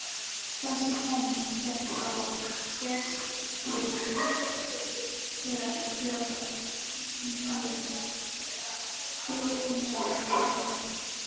Þessi kenning fékk þó fyrst byr þegar Þjóðverjinn